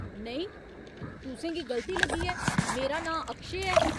नेईं, तुसेंगी गलती लग्गी ऐ, मेरा नांऽ अक्षय ऐ।